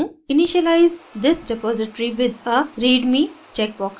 initialize this repository with a readme checkbox पर click करें